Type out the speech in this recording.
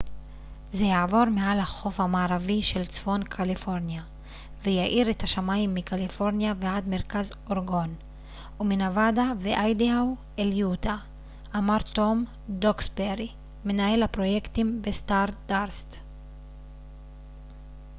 זה יעבור מעל החוף המערבי של צפון קליפורניה ויאיר את השמים מקליפורניה ועד מרכז אורגון ומנבדה ואיידהו אל יוטה אמר טום דוקסברי מנהל הפרויקטים בסטארדאסט